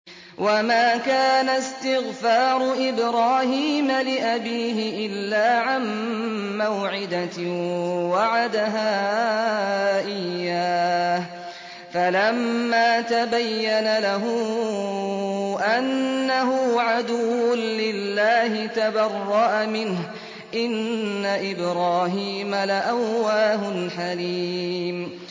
وَمَا كَانَ اسْتِغْفَارُ إِبْرَاهِيمَ لِأَبِيهِ إِلَّا عَن مَّوْعِدَةٍ وَعَدَهَا إِيَّاهُ فَلَمَّا تَبَيَّنَ لَهُ أَنَّهُ عَدُوٌّ لِّلَّهِ تَبَرَّأَ مِنْهُ ۚ إِنَّ إِبْرَاهِيمَ لَأَوَّاهٌ حَلِيمٌ